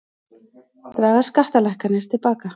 Draga skattalækkanir til baka